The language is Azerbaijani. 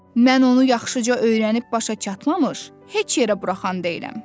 Mən onu yaxşıca öyrənib başa çatmamış heç yerə buraxan deyiləm.